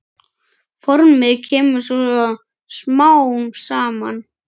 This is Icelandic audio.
Formið kemur svo smám saman.